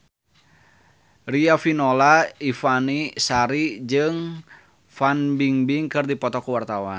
Riafinola Ifani Sari jeung Fan Bingbing keur dipoto ku wartawan